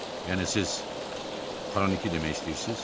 Yəni siz xroniki demək istəyirsiniz?